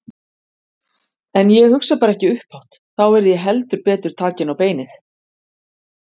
En ég hugsa bara ekki upphátt Þá yrði ég heldur betur takin á beinið.